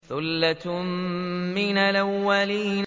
ثُلَّةٌ مِّنَ الْأَوَّلِينَ